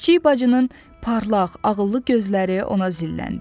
Kiçik bacının parlaq, ağıllı gözləri ona zilləndi.